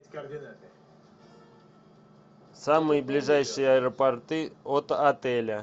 самые ближайшие аэропорты от отеля